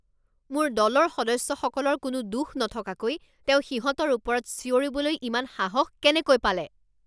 মোৰ দলৰ সদস্যসকলৰ কোনো দোষ নথকাকৈ তেওঁ সিহঁতৰ ওপৰত চিঞৰিবলৈ ইমান সাহস কেনেকৈ পালে!